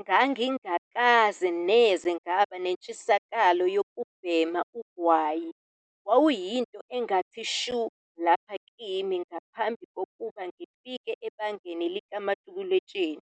"Ngangingakaze neze ngaba nentshisekelo yokubhema ugwayi - wawuyinto engathi shu lapha kimi ngaphambi kokuba ngifike ebangeni likamatikuletsheni